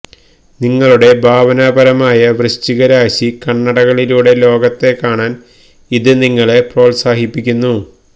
നിങ്ങളുടെ ഭാവനാപരമായ വൃശ്ചികരാശി കണ്ണടകളിലൂടെ ലോകത്തെ കാണാൻ ഇത് നിങ്ങളെ പ്രോത്സാഹിപ്പിക്കുന്നു